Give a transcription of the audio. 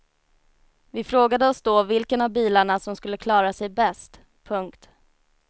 Vi frågade oss då vilken av bilarna som skulle klara sig bäst. punkt